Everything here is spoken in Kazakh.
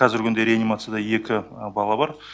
қазіргі күнде реанимацияда екі бала бар